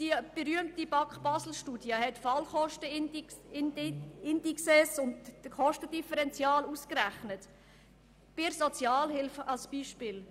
Die berühmte BAK-Basel-Studie hat die Fallkostenindices und das Kostendifferential in der Sozialhilfe ausgerechnet.